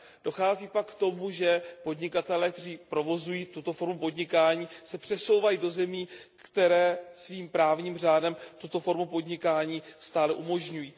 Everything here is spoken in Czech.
Dochází pak k tomu, že podnikatelé, kteří provozují tuto formu podnikání, se přesouvají do zemí, které svým právním řádem tuto formu podnikání stále umožňují.